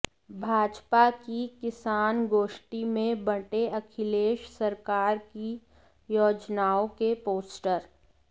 भाजपा की किसान गोष्टी में बंटे अखिलेश सरकार की योजनाओं के पोस्टर